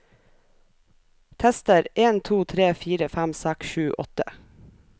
Tester en to tre fire fem seks sju åtte